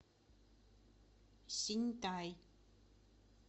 синьтай